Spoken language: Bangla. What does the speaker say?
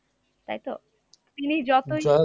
তাইতো? তিনি যতই